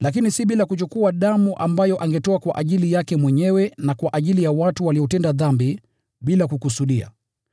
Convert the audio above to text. na hakuingia kamwe bila damu, ambayo alitoa kwa ajili yake mwenyewe na kwa ajili ya dhambi za watu walizotenda bila kukusudia.